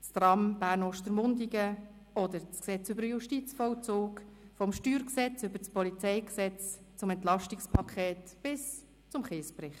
das Tram Bern–Ostermundigen oder das Gesetz über den Justizvollzug (Justizvollzugsgesetz, JVG); vom Steuergesetz (StG) über das Polizeigesetz (PolG) bis zum Entlastungspaket und zum Kiesbericht.